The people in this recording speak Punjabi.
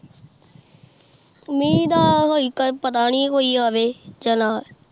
ਮਹਿ ਦਾ ਹਾਲੇ ਤਾ ਪਤਾ ਨੀ ਕੋਈ ਆਵੇ ਜਾ ਨਾ